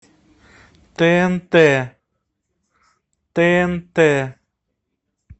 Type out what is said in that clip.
тнт тнт